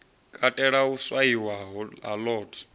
katela u swaiwa ha lot